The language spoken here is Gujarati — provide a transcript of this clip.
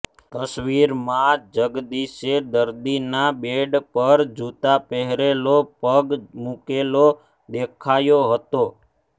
તસવીરમાં જગદીશે દર્દીના બેડ પર જૂતા પહેરેલો પગ મૂકેલો દેખાયો હતો